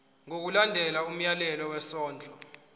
ngokulandela umyalelo wesondlo